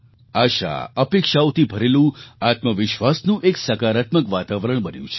આશાઅપેક્ષાઓથી ભરેલું આત્મવિશ્વાસનું એક સકારાત્મક વાતાવરણ બન્યું છે